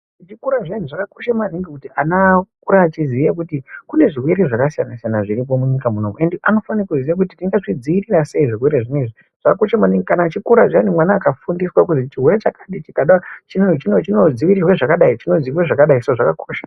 Zvikora zviyani zvakakosha maningi kuti ana akure echiziye kuti kune zvirwere zvakasiyana siyana zviri munyika munomu ende anofanira kuziya kuti tingazvidzivirira sei chirwerwe chakadai chinodzivirirwa zvakadai saka zvakakosha